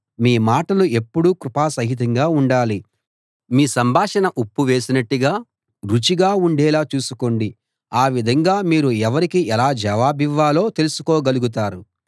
మీ మాటలు ఎప్పుడూ కృపాసహితంగా ఉండాలి మీ సంభాషణ ఉప్పు వేసినట్టు రుచిగా ఉండేలా చూసుకోండి ఆ విధంగా మీరు ఎవరికి ఎలా జవాబివ్వాలో తెలుసుకోగలుగుతారు